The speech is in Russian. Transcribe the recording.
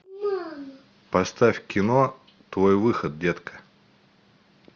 поставь кино твой выход детка